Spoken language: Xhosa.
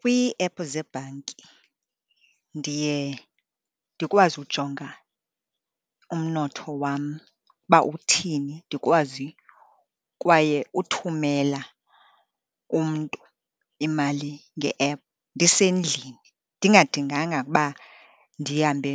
Kwiiephu zebhanki ndiye ndikwazi ujonga umnotho wam uba uthini, ndikwazi kwaye uthumela umntu imali nge-ephu ndisendlini, ndingadinganga ukuba ndihambe